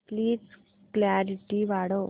please clarity वाढव